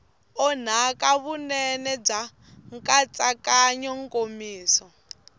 onhaka vunene bya nkatsakanyo nkomiso